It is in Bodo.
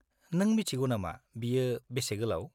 -नों मिथिगौ नामा बेयो बेसे गोलाव?